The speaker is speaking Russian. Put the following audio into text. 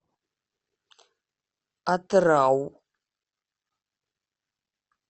атырау